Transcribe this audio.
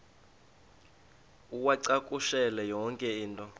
uwacakushele yonke into